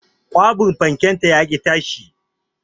Kwabin fanken ta yaƙi tashi